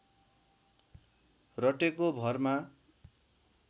रटेको भरमा